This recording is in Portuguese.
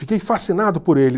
Fiquei fascinado por ele.